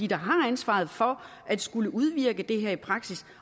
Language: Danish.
der har ansvaret for at skulle udvirke det her i praksis